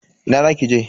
Ina za ki je?